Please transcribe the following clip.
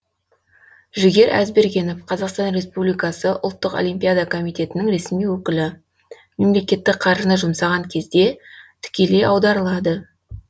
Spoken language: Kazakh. жігер әзбергенов қазақтан республикасы ұлттық олимпиада комитетінің ресми өкілі мемлекеттік қаржыны жұмсаған кезде тікелей аударылады